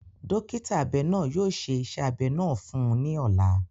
Dọkita abẹ naa yóò ṣe iṣẹ abẹ naa fun u ni ọla.